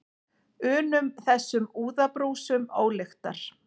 unum, þessum úðabrúsum ólyktar.